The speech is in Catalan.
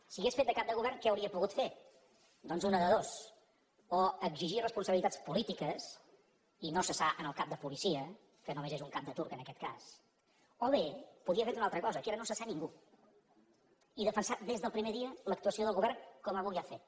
si hagués fet de cap de govern què hauria pogut fer doncs una de dues o exigir responsabilitats polítiques i no cessar el cap de policia que només és un cap de turc en aquest cas o bé podia haver fet una altra cosa que era no cessar ningú i defensar des del primer dia l’actuació del govern com avui ha fet